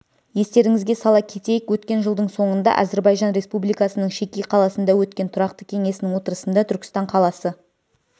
естеріңізге сала кетейік өткен жылдың соңында әзірбайжан республикасының шеки қаласында өткен тұрақты кеңесінің отырысында түркістан қаласы